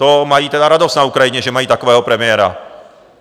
To mají tedy radost na Ukrajině, že mají takového premiéra.